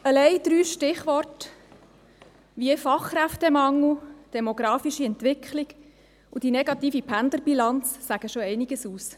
Allein die drei Stichworte «Fachkräftemangel», «demografische Entwicklung» und «negative Pendlerbilanz» sagen schon einiges aus.